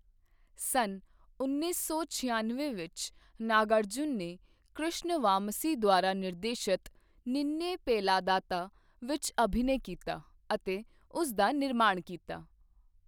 ਸੰਨ ਉੱਨੀ ਸੌ ਛਿਆਨਵੇਂ ਵਿੱਚ, ਨਾਗਾਰਜੁਨ ਨੇ ਕ੍ਰਿਸ਼ਨ ਵਾਮਸੀ ਦੁਆਰਾ ਨਿਰਦੇਸ਼ਤ, 'ਨਿਨ੍ਨੇ ਪੇਲਾਦਾਤਾ' ਵਿੱਚ ਅਭਿਨੈ ਕੀਤਾ ਅਤੇ ਉਸ ਦਾ ਨਿਰਮਾਣ ਕੀਤਾ।